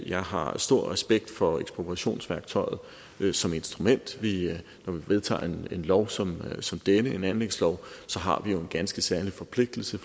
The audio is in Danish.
jeg har stor respekt for ekspropriationsværktøjet som instrument vi vedtager en lov som som denne en anlægslov så har vi en ganske særlig forpligtelse